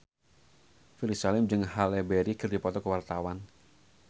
Ferry Salim jeung Halle Berry keur dipoto ku wartawan